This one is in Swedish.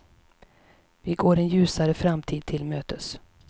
Vi går en ljusare framtid till mötes.